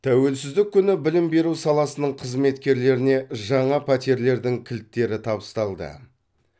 тәуелсіздік күні білім беру саласының қызметкерлеріне жаңа пәтерлердің кілттері табысталды